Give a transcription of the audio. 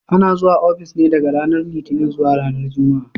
Ana zuwa ofis ne daga ranar Litinin zuwa ranar Juma'a.